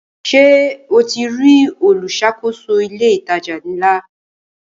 Ṣe o ti rí olùṣàkóso ilé ìtajà ńlá?